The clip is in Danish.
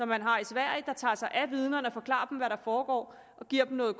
man har i sverige der tager sig af vidnerne og forklarer dem hvad der foregår og giver dem noget